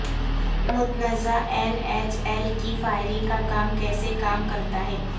متنازعہ N H L کی فائرنگ کا کام کیسے کام کرتا ہے